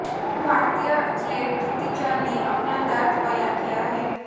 भारतीय एथलीट दुती चंद ने अपना दर्द बयां किया है